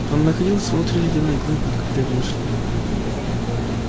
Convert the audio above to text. он находился внутри ледяной глыбы когда его нашли